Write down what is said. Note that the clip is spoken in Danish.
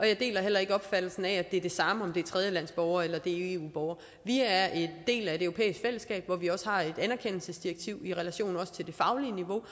jeg deler heller ikke opfattelsen af at det er det samme om det er tredjelandsborgere eller om det er eu borgere vi er en del af et europæisk fællesskab hvor vi har et anerkendelsesdirektiv også i relation til det faglige niveau